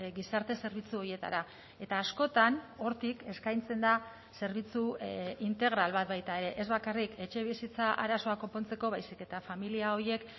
gizarte zerbitzu horietara eta askotan hortik eskaintzen da zerbitzu integral bat baita ere ez bakarrik etxebizitza arazoa konpontzeko baizik eta familia horiek